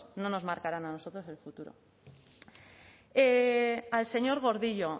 no nos marcaron a nosotros el futuro al señor gordillo